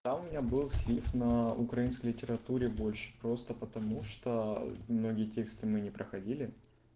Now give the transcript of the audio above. да у меня был слив на украинской литературе больше просто потому что многие тексты мы не проходили